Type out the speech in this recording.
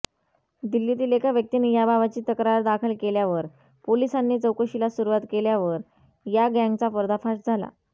दिल्लीतील एका व्यक्तीने याबाबतची तक्रार दाखल केल्यावर पोलिसांनी चौकशीला सुरुवात केल्यावर या गँगचा पर्दाफाश झाला